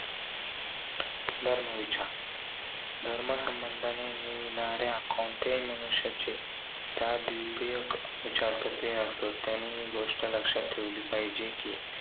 धर्म विचार. धर्म संबंधाने मिळणाऱ्या, कोणत्याही मनुष्याचे त्या द्वितीयक विचार कसे असत? त्यांनी ही गोष्ट लक्षात ठेवली पाहिजे कि,